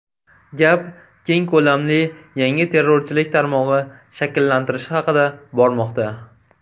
Gap keng ko‘lamli yangi terrorchilik tarmog‘i shakllantirilishi haqida bormoqda.